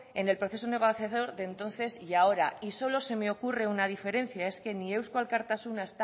en el proceso negociador de entonces y ahora y solo se me ocurre una diferencia es que ni eusko alkartasuna